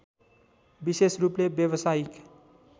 विशेष रूपले व्यवसायिक